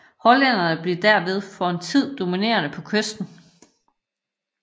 Hollænderne blev derved for en tid dominerende på kysten